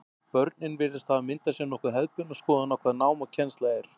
Börnin virðast hafa myndað sér nokkuð hefðbundna skoðun á hvað nám og kennsla er.